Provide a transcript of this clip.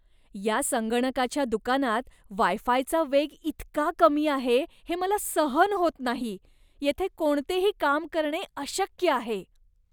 या संगणकाच्या दुकानात वाय फायचा वेग इतका कमी आहे, हे मला सहन होत नाही. येथे कोणतेही काम करणे अशक्य आहे.